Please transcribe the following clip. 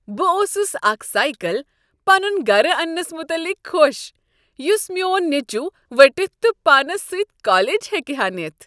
بہٕ اوسُس اکھ سایکل پنُن گرٕ اننس متعلق خوش یُس میون نیچو ؤٹِتھ تہٕ پانس سۭتۍ کالج ہیکہٕ ہا نِتھ ۔